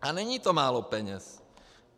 A není to málo peněz.